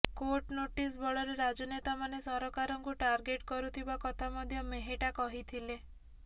court notice ବଳରେ ରାଜନେତାମାନେ ସରକାରଙ୍କୁ ଟାର୍ଗେଟ୍ କରୁଥିବା କଥା ମଧ୍ୟ ମେହେଟା କହିଥିଲେ